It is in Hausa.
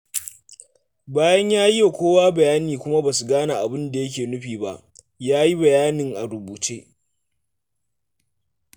Bayan ya yi wa kowa bayani kuma ba su gane me yake nufi ba, ya yi bayanin a rubuce.